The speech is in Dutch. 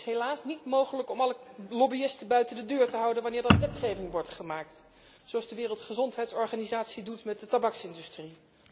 Het is helaas dus niet mogelijk alle lobbyisten buiten de deur te houden wanneer er wetgeving wordt gemaakt, zoals de Wereldgezondheidsorganisatie doet met de tabaksindustrie.